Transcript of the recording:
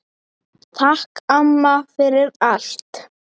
Takk, amma, fyrir allt.